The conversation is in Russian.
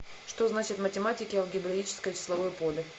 что значит в математике алгебраическое числовое поле